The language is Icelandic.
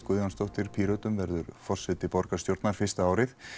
Guðjónsdóttir Pírötum verður forseti borgarstjórnar fyrsta árið